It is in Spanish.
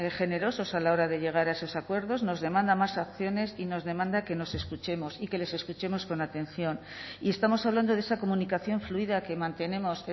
generosos a la hora de llegar a esos acuerdos nos demanda más acciones y nos demanda que nos escuchemos y que les escuchemos con atención y estamos hablando de esa comunicación fluida que mantenemos